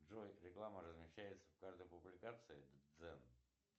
джой реклама размещается в каждой публикации дзен